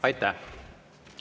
Aitäh!